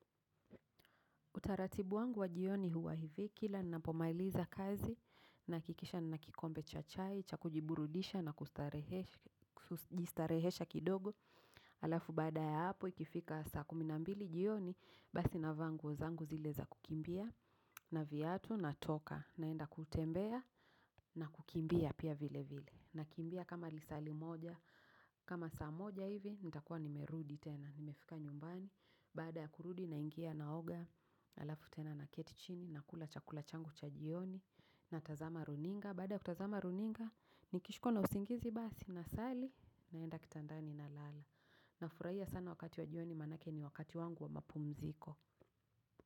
Utaratibu wangu wa jioni huwa hivi, kila ninapomailiza kazi nahakikisha nina kikombe cha chai, cha kujiburudisha na kujistarehesha kidogo. Alafu baada ya hapo ikifika saa kumi na mbili jioni, basi navaa nguo zangu zile za kukimbia na viatu natoka naenda kutembea na kukimbia pia vile vile. Nakimbia kama lisali moja, kama saa moja hivi, nitakuwa nimerudi tena, nimefika nyumbani. Baada ya kurudi naingia naoga, alafu tena naketi chini, nakula chakula changu cha jioni. Natazama runinga, baada ya kutazama runinga, nikishikwa na usingizi basi nasali, naenda kitandani nalala. Nafurahia sana wakati wa jioni manake ni wakati wangu wa mapumziko.